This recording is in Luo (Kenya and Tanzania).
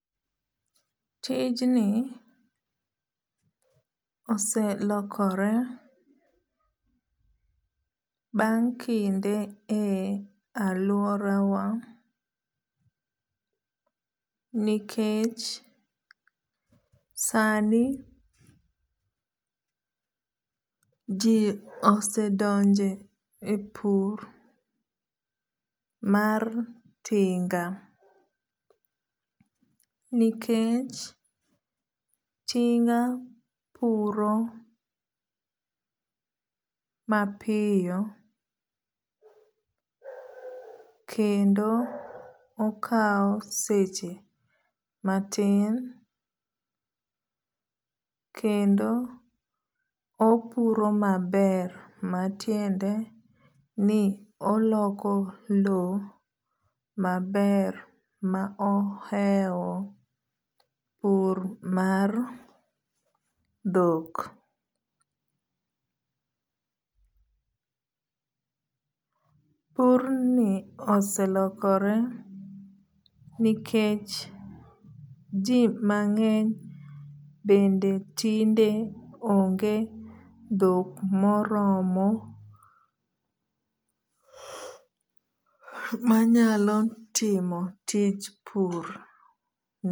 Tijni oselokore bang' kinde e aluora wa nikech sani ji osedonje e pur mar tinga. Nikech tinga puro mapiyo kendo okaw seche matin kendo opuro maber matiende ni oloko low maber ma ohewo pur mar dhok. Pur ni oselokore nikech ji mang'eny bende tinde onge dhok moromo manyalo timo tich pur.